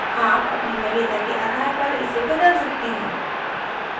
आप अपनी वरीयता के आधार पर इसे बदल सकते हैं